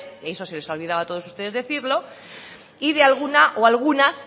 y eso se les ha olvidado a todos ustedes decirlo y de alguna o algunas